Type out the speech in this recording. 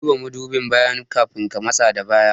Ka duba mudubin baya kafin ka matsa da baya